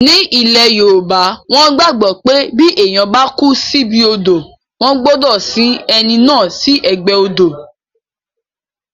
Ní ilẹ̀ yoòbá, wọ́n gbàgbọ́ pé bí èèyàn bá kú síbi odò wọ́n gbọdọ̀ sin ẹni náà sí ẹ̀gbẹ́ odò